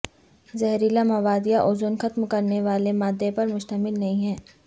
زہریلا مواد یا اوزون ختم کرنے والے مادہ پر مشتمل نہیں ہے